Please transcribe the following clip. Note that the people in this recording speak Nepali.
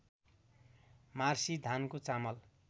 मार्सी धानको चामल